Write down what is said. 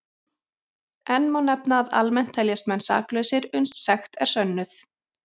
Enn má nefna að almennt teljast menn saklausir uns sekt er sönnuð.